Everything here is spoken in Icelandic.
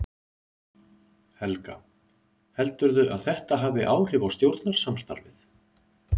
Helga: Heldurðu að þetta hafi áhrif á stjórnarsamstarfið?